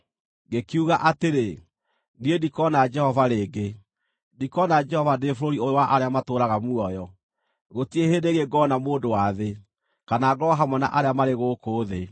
Ngĩkiuga atĩrĩ, “Niĩ ndikona Jehova rĩngĩ, ndikona Jehova ndĩ bũrũri ũyũ wa arĩa matũũraga muoyo; gũtirĩ hĩndĩ ĩngĩ ngona mũndũ wa thĩ, kana ngorwo hamwe na arĩa marĩ gũkũ thĩ.